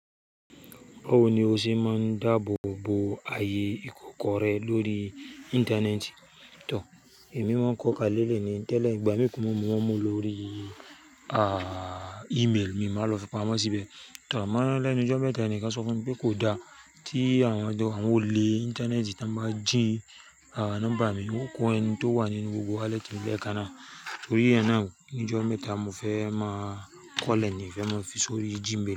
Báwo ni o ṣe máa ń dáàbò bo ààyè ìkọ́kọrẹ lórí Íńtánẹ́ẹ̀tì? Tò, èmi máa ń kọ́kalẹ̀ lẹ́yìn tí ìgbà mi kú, mo mú ọmọ lórí, ààh, ímeèlì mi, màá lọ fi pamọ́ síbẹ̀. Tò, màá lẹ́nu jọ́ mẹ́ta ni kí ó sọ fún mi pé kò dáa tí àwọn ọdẹ àwọn olè Íńtánẹ́ẹ̀tì tí wọ́n bá jí, àh, nọ́mbà mi, wọn kò owó ẹni tó wà nínú gbogbo wálẹ́tì ìléèkan náà. Torí ẹ náà ni jọ́ mẹ́ta mo fẹ́ máa kọ́lẹ̀ ni, fẹ́ máa fi sórí Gmail.